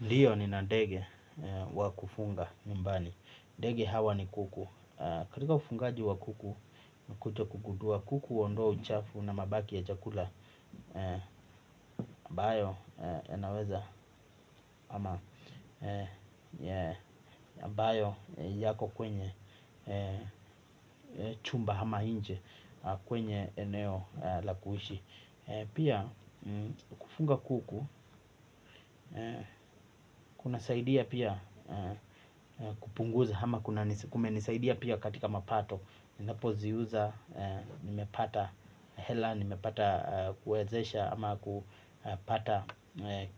Ndiyo nina ndege wa kufunga nyumbani. Dege hawa ni kuku. Katika ufungaji wa kuku nimekuja kugundua kuku huondoa uchafu na mabaki ya chakula ambayo yanaweza ambayo yako kwenye chumba ama nje kwenye eneo la kuishi. Pia kufunga kuku kuna saidia pia kupunguza ama kumenisaidia pia katika mapato. Ninapo ziuza, nimepata hela, nimepata kuwezesha ama kupata